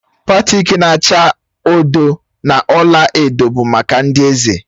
Batik na-acha odo na ọla edo bụ maka ndị eze.